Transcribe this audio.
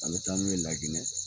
A be taa n'u ye La Ginɛ